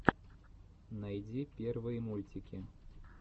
найди первые мультики